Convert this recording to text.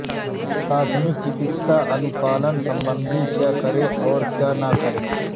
प्राथमिक चिकित्सा अनुपालन संबंधी क्या करें और क्या ना करें